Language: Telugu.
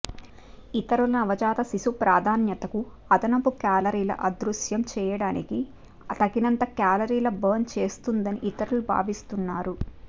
ఇతరులు నవజాత శిశుప్రాధాన్యతకు అదనపు కేలరీలు అదృశ్యం చేయటానికి తగినంత కేలరీలు బర్న్ చేస్తుందని ఇతరులు భావిస్తున్నారు